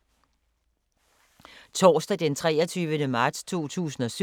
Torsdag d. 23. marts 2017